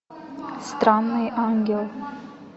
странный ангел